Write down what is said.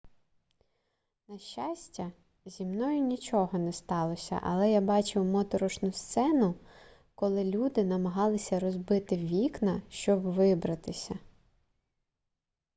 на щастя зі мною нічого не сталося але я бачив моторошну сцену коли люди намагалися розбити вікна щоб вибратися